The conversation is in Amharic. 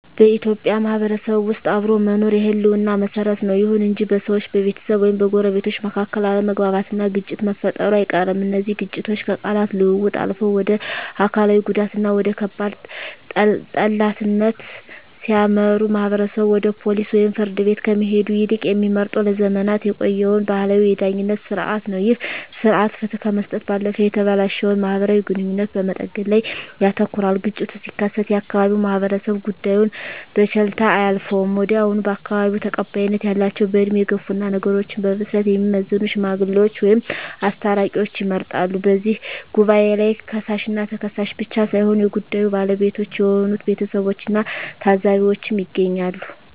በኢትዮጵያ ማህበረሰብ ውስጥ አብሮ መኖር የህልውና መሰረት ነው። ይሁን እንጂ በሰዎች፣ በቤተሰብ ወይም በጎረቤቶች መካከል አለመግባባትና ግጭት መፈጠሩ አይቀርም። እነዚህ ግጭቶች ከቃላት ልውውጥ አልፈው ወደ አካላዊ ጉዳትና ወደ ከባድ ጠላትነት ሲያመሩ፣ ማህበረሰቡ ወደ ፖሊስ ወይም ፍርድ ቤት ከመሄድ ይልቅ የሚመርጠው ለዘመናት የቆየውን ባህላዊ የዳኝነት ሥርዓት ነው። ይህ ሥርዓት ፍትህ ከመስጠት ባለፈ የተበላሸውን ማህበራዊ ግንኙነት በመጠገን ላይ ያተኩራል። ግጭቱ ሲከሰት የአካባቢው ማህበረሰብ ጉዳዩን በቸልታ አያልፈውም። ወዲያውኑ በአካባቢው ተቀባይነት ያላቸው፣ በዕድሜ የገፉና ነገሮችን በብስለት የሚመዝኑ "ሽማግሌዎች" ወይም "አስታራቂዎች" ይመረጣሉ። በዚህ ጉባኤ ላይ ከሳሽና ተከሳሽ ብቻ ሳይሆኑ የጉዳዩ ባለቤቶች የሆኑት ቤተሰቦችና ታዘቢዎችም ይገኛሉ።